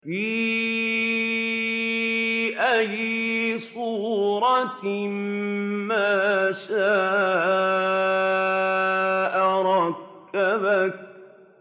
فِي أَيِّ صُورَةٍ مَّا شَاءَ رَكَّبَكَ